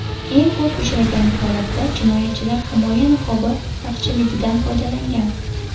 Eng ko‘p uchragan holatda jinoyatchilar himoya niqobi taqchilligidan foydalangan.